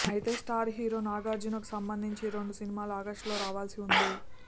అయితే star hero నాగార్జునకు సంబంధించి రెండు సినిమాలు ఆగస్టులో రావాల్సి ఉంది